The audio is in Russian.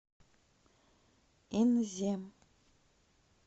инзе